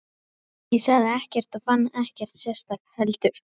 Ég sagði ekkert og fann ekkert sérstakt heldur.